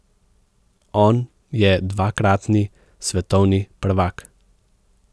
On je dvakratni svetovni prvak.